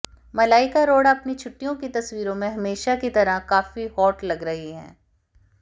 मलाइका अरोड़ा अपनी छुट्टियों की तस्वीरों में हमेशा की तरह काफी हॉट लग रही हैं